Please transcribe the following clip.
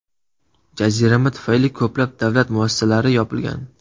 Jazirama tufayli ko‘plab davlat muassasalari yopilgan.